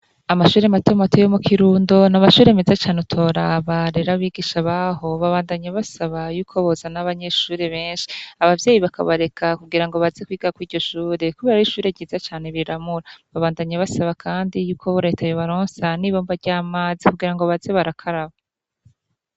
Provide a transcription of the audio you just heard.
amashuri mato mato yomu kirundo na amashure meza cyane utoraba rero abigisha baho babandanye basaba y'uko bozana nabanyeshuri benshi ababyeyi bakabareka kugira ngo baze kwiga kw'igishure kubera r'ishure ryiza cyane riramura babandanye basaba kandi y'uko letaye yobaronsa n'ibomba ry'amazi kugira ngo baze barakaraba